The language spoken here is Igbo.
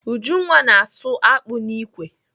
Ujunwa na-asụ akpụ n'ikwe.